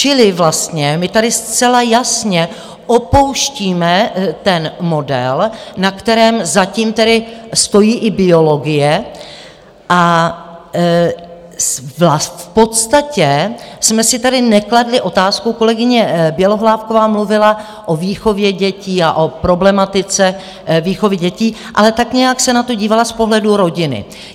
Čili vlastně my tady zcela jasně opouštíme ten model, na kterém zatím tedy stojí i biologie, a v podstatě jsme si tady nekladli otázku, kolegyně Bělohlávková mluvila o výchově dětí a o problematice výchovy dětí, ale tak nějak se na to dívala z pohledu rodiny.